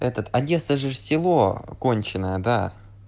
этот одесса ж село конченое да